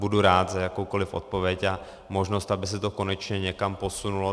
Budu rád za jakoukoliv odpověď a možnost, aby se to konečně někam posunulo.